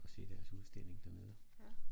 Og se deres udstilling dernede